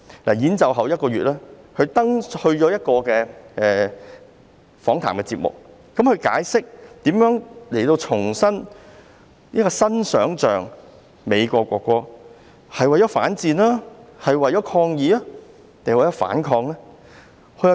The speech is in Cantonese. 在演奏表演一個月後，他出席一個訪談節目，解釋如何創作這首重新想象的美國國歌，究竟是為了反戰、抗議還是反抗？